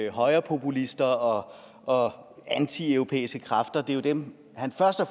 højrepopulister og og antieuropæiske kræfter det er jo dem han først og